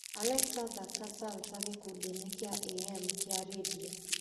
alexa thaaka salsa gĩkundi-inĩ kĩa a.m. kĩa rĩndiũ